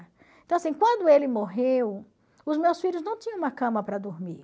Então, assim, quando ele morreu, os meus filhos não tinham uma cama para dormir.